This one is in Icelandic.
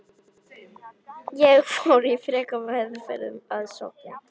Ég fór í frekari meðferð að Sogni.